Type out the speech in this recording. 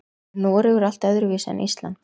Er Noregur allt öðruvísi en Ísland?